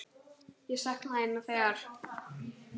Ég sakna þín nú þegar.